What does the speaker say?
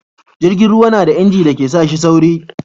jirgin ruwa na da inji da ke sa shi sauri